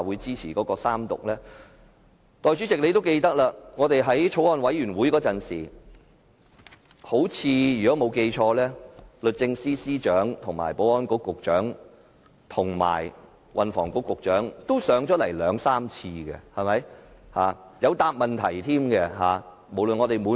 相信代理主席也記得，法案委員會進行審議時，律政司司長、保安局局長及運輸及房屋局局長均曾出席三數次會議，並在席上回答問題。